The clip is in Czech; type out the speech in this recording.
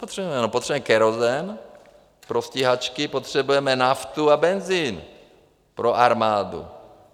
Potřebujeme kerosin pro stíhačky, potřebujeme naftu a benzin pro armádu.